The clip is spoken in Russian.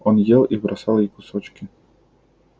он ел и бросал ей кусочки